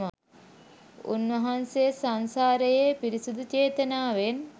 උන්වහන්සේ සංසාරයේ පිරිසුදු චේතනාවෙන්